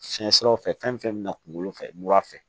Fiɲɛ siraw fɛ fɛn fɛn bɛna kunkolo fɛ mura fɛ